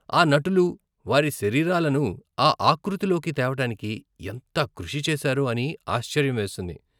ఆ నటులు, వారి శరీరాలను ఆ ఆకృతిలోకి తేవటానికి ఎంత కృషి చేశారో అని ఆశ్చర్యం వేస్తుంది.